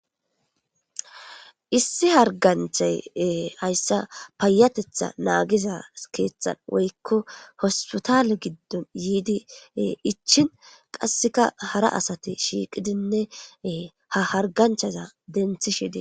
Issi harganchay hayssa payatetha naagiza keeththan woykko hospitale giddon yiidi ichin qasseka hara asati shiiqidinne ha harganchaza denthi shide.